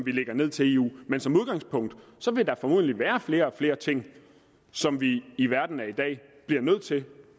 vi lægger ned til eu men som udgangspunkt vil der formodentlig være flere og flere ting som vi i verden af i dag bliver nødt til